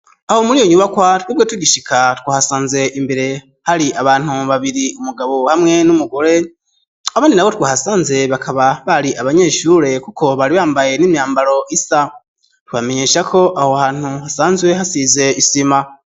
aho muriyo nyubakwa twebwe tugishika twahasanze imbere hari abantu babiri umugabo hamwe n'umugore abandi nabo twahasanze bakaba bari abanyeshure kuko bari bambaye n'imyambaro isa twobamenyesha ko aho hantu hasanzwe hasize isima.